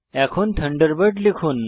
এখন থান্ডারবার্ড লিখুন